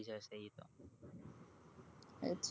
અચ્છા